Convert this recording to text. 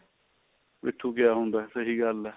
ਪਿਠੁਕਿਆ ਹੁੰਦਾ ਸਹੀ ਗੱਲ ਏ